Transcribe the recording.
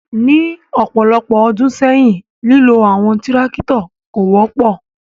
Ni ọpọlọpọ ọdun sẹyin, lilo awọn tirakitọ ko wọpọ